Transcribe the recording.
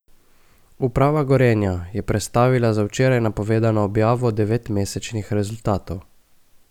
Uprava Gorenja je prestavila za včeraj napovedano objavo devetmesečnih rezultatov.